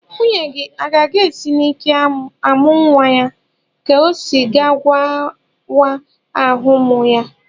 Nwunye gị o ga-esi n'ike amụ nwa ya ka ọ ga-awa ahụ amụ ya?